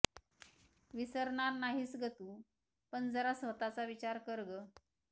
विसरणार नाहीस गं तु पण जरा स्वतःचा विचार कर गं